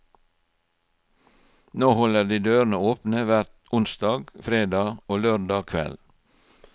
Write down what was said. Nå holder de dørene åpne hver onsdag, fredag og lørdag kveld.